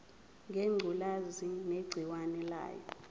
ngengculazi negciwane layo